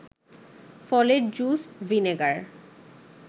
ফলের juice, vinegar